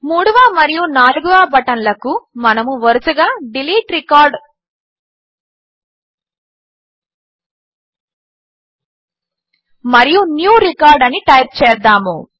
మరియు new record అని type చేద్దాము